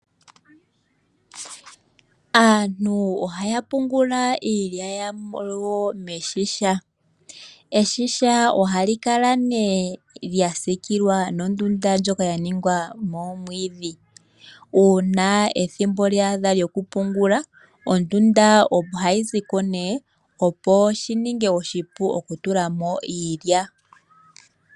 Aantu ohaya pungula iilya yawo momashisha, eshisha ohali kala ne lya sikilwa nondunda ndjoka ya ningwa noomwidhi, uuna ethimbo lyaadha lyoku pungula, ondunda ohayi ziko ne opo shi ninge oshipu oku tulamo iilya.